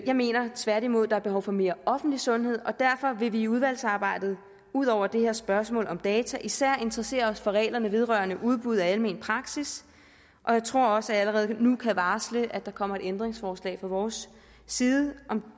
jeg mener tværtimod at der er behov for mere offentlig sundhed derfor vil vi i udvalgsarbejdet ud over det her spørgsmål om data især interessere os for reglerne vedrørende udbud af almen praksis og jeg tror også at jeg allerede nu kan varsle at der kommer et ændringsforslag fra vores side